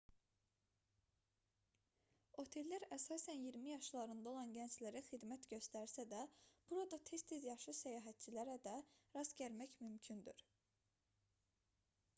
otellər əsasən iyirmi yaşlarında olan gənclərə xidmət göstərsə də burada tez-tez yaşlı səyahətçilərə də rast gəlmək mümkündür